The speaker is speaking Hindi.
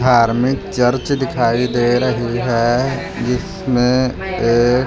धार्मिक चर्च दिखाई दे रही है जिसमें एक--